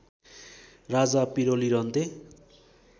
राजा पिरोलिरहन्थे